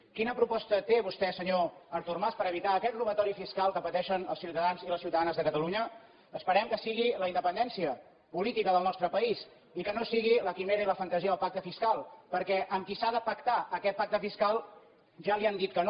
quina proposta té vostè senyor artur mas per evitar aquest robatori fiscal que pateixen els ciutadans i les ciutadanes de catalunya esperem que sigui la independència política del nostre país i que no sigui la quimera i la fantasia del pacte fiscal perquè amb qui s’ha de pactar aquest pacte fiscal ja li han dit que no